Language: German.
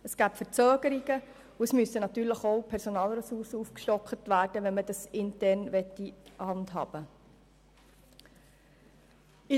Es käme zu Verzögerungen, und es müssten Personalressourcen aufgestockt werden, wenn man dieses Projekt intern handhaben möchte.